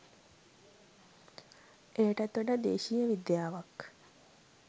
එයටත් වඩා දේශීය විද්‍යාවක්